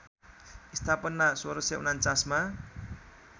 स्थापना १६४९ मा